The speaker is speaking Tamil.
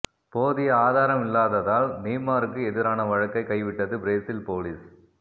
போதிய ஆதாரம் இல்லாததால் நெய்மாருக்கு எதிரான வழக்கை கைவிட்டது பிரேசில் போலீஸ்